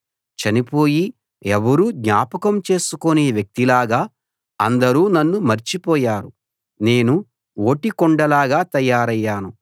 చనిపోయి ఎవరూ జ్ఞాపకం చేసుకోని వ్యక్తిలాగా అందరూ నన్ను మర్చిపోయారు నేను ఓటికుండలాగా తయారయ్యాను